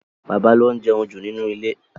Bàbá ló ń jẹun jù nínú ilé.